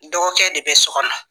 Dɔgɔkɛ de bɛ so kɔnɔ